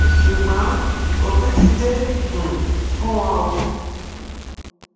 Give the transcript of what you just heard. ṣùgbọn òpin ti dé um fún wọn o